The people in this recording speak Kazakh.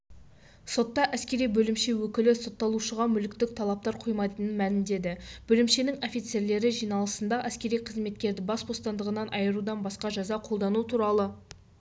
сотта әскери бөлімше өкілі сотталушыға мүліктік талаптар қоймайтынын мәлімдеді бөлімшенің офицерлері жиналысында әскери қызметкерді бас бостандығынан айырудан басқа жаза қолдану туралы